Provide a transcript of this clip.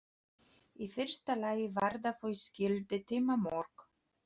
Í fyrsta lagi varða þau skilyrði tímamörk.